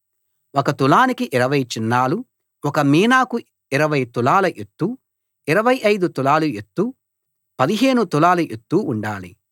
ఒక తులానికి 20 చిన్నాలు ఒక మీనాకు 20 తులాల ఎత్తు 25 తులాల ఎత్తు 15 తులాల ఎత్తు ఉండాలి